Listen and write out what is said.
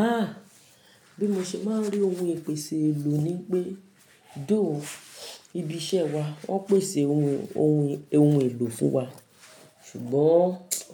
A! Bí mo ṣe máa ń rí oun ìpèsè èlò ni pé, though, ibi iṣẹ́ wa wọ́n pèsè oun oun oun èlò fún wa, ṣùgbọ́n